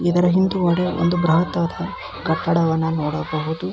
ಇದರ ಹಿಂದುಗಡೆ ಒಂದು ಬ್ರಹದಾಕಾರದ ಕಟ್ಟಡವನ್ನು ನೋಡಬಹುದು.